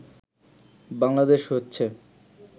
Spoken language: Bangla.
বাংলাদেশ হচ্ছে